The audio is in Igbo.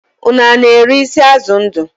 Ụnụ na-ere isi azụ ndu?